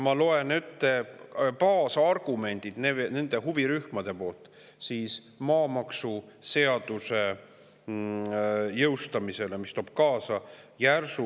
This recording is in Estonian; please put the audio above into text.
Ma loen ette nende huvirühmade baasargumendid maamaksuseaduse jõustamise kohta, mis toob kaasa maamaksu järsu tõusu.